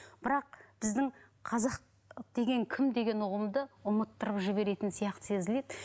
бірақ біздің қазақ деген кім деген ұғымды ұмыттырып жеберетін сияқты сезіледі